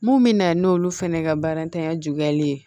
Mun bɛ na n'olu fɛnɛ ka baaratanya juguyali ye